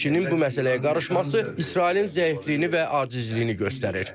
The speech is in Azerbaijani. ABŞ-nin bu məsələyə qarışması İsrailin zəifliyini və acizliyini göstərir.